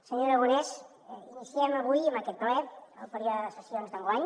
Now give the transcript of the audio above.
senyor aragonès iniciem avui amb aquest ple el període de sessions d’enguany